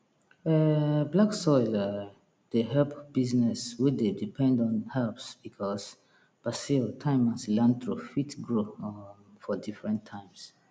um black soil um dey help business wey dey depend on herbs because basil thyme and cilantro fit grow um for different times